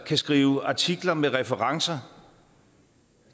kan skrive artikler med referencer